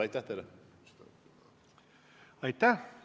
Aitäh!